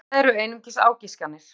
En þetta eru einungis ágiskanir.